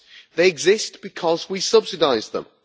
They exist because we subsidise them.